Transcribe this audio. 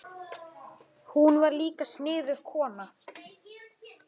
Hún var líka sniðug kona.